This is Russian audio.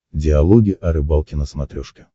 диалоги о рыбалке на смотрешке